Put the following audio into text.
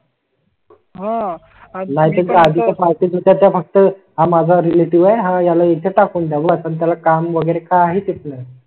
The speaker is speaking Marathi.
हा आज माझा घरी पार्टी त्याच्या फक्त माझा रिलेटिव्ह याला येथे टाकून देण्यात आला. काम वगैरे काय आहे प्लॅन